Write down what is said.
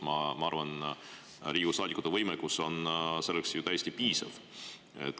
Ma arvan, et Riigikogu saadikute võimekus on selleks täiesti piisav.